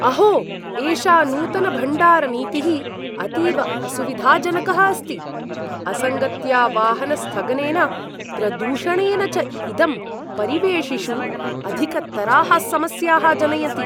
अहो एषा नूतनभण्डारनीतिः अतीव असुविधाजनकः अस्ति, असङ्गत्या वाहनस्थगनेन, प्रदूषणेन च इदं परिवेशिषु अधिकतराः समस्याः जनयति।